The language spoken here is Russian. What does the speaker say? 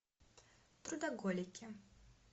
трудоголики